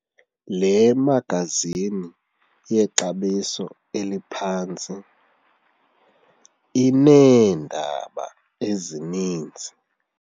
Le magazini yexabiso eliphantsi ineendaba ezininzi.